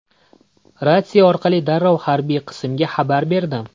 Ratsiya orqali darrov harbiy qismga xabar berdim.